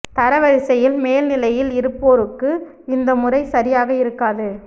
தரவரிசையில் மேல் நிலையில் இருப்போருக்கு இந்த முறை சரியாக இருக்காது